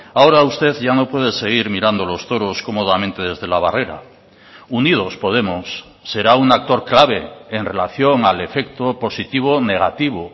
ahora usted ya no puede seguir mirando los toros cómodamente desde la barrera unidos podemos será un actor clave en relación al efecto positivo negativo